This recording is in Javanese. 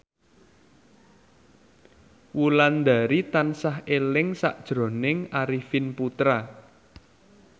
Wulandari tansah eling sakjroning Arifin Putra